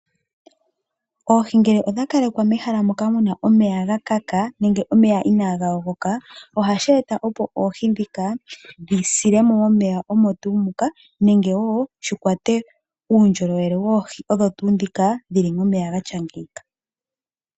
Oohi ngele odha kalekwa mehala moka muna omeya ga kaka nenge omeya inaa ga yogoka ohashi e ta opo oohi ndhika dhi sile mo momeya omo tuu muka, nenge wo shi kwate uundjolowele woohi odho tuu ndhika dhili momeya gatya ngeika.